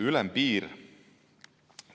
Ülempiir.